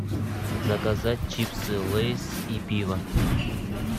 заказать чипсы лейс и пиво